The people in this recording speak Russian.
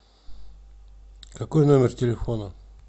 какой номер телефона